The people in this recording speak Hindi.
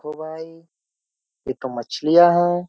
ए भाई ये तो मछलियां है।